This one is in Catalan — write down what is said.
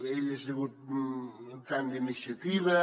ell ha sigut militant d’iniciativa